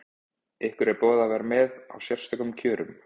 Ykkur er boðið að vera með á sérstökum kjörum?